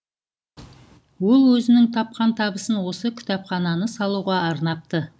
ол өзінің тапқан табысын осы кітапхананы салуға арнапты